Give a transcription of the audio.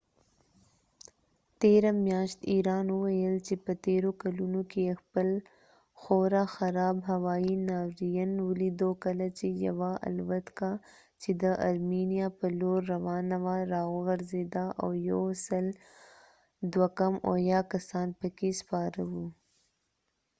تیره میاشت ایران وويل چي په تيرو کلونو کې يې خپل خورا خراب هوایی ناورین ولیدو کله چي يوه الوتکه چي د ارمينيا په لور روانه وه راوغورځېده او 168 کسان پکي سپاره و